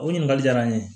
O ɲininkali diyara n ye